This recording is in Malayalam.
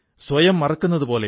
പൊൻ മാരിയപ്പനോടു സംസാരിക്കാം